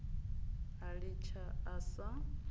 a litsha a sa a